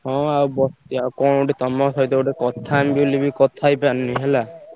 ହଁ ଆଉ ବସଚି। ଆଉ କଣ ଗୋଟେ ତମ ସହିତ ଗୋଟେ କଥା ହେବି ବୋଲି କଥା ହେଇ ପାରୁନି ହେଲା।